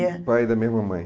O pai e da mesma mãe.